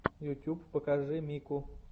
ютуб покажи мику